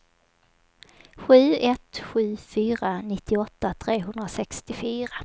sju ett sju fyra nittioåtta trehundrasextiofyra